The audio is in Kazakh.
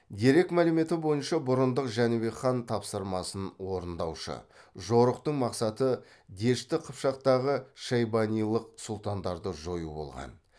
дерек мәліметі бойынша бұрындық жәнібек хан тапсырмасын орындаушы жорықтың мақсаты дешті қыпшақтағы шайбанилық сұлтандарды жою болған